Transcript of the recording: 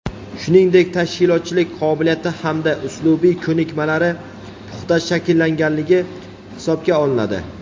shuningdek tashkilotchilik qobiliyati hamda uslubiy ko‘nikmalari puxta shakllanganligi hisobga olinadi;.